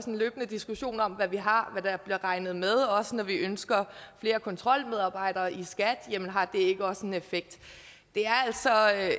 en løbende diskussion om hvad vi har og hvad der bliver regnet med også når vi ønsker flere kontrolmedarbejdere i skat jamen har det ikke også en effekt